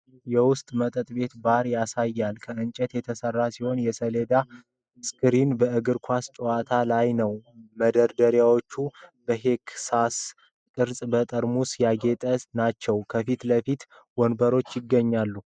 የውስጥ መጠጥ ቤት (ባር) ያሳያል፤ ከእንጨት የተሰራ ሲሆን፣ የሰሌዳ ስክሪን በእግር ኳስ ጨዋታ ላይ ነው። መደርደሪያዎቹ በሄክሳጎን ቅርጽ በጠርሙስ ያጌጡ ናቸው፤ ከፊት ለፊትም ወንበሮች ይገኛሉ።